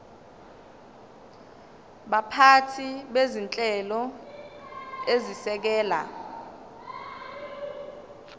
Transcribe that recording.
baphathi bezinhlelo ezisekela